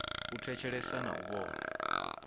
u thetshelesa na u vhona